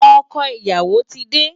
Ọkọ ìyàwó ti dé.